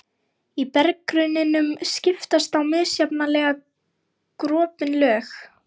Í berggrunninum skiptast á misjafnlega gropin lög.